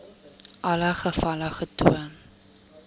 alle gevalle getoon